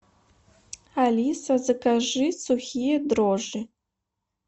алиса закажи сухие дрожжи